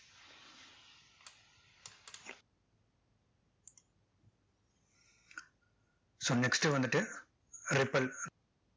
so next வந்துட்டு repel